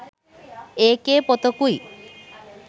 ඒකේ පොතකුයි